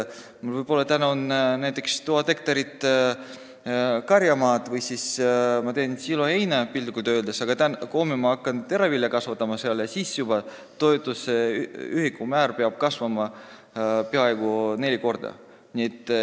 Kui mul on näiteks 1000 hektarit karjamaad või ma teen seal siloheina, aga homme hakkan teravilja kasvatama, kasvab toetuse ühikumäär juba peaaegu neli korda.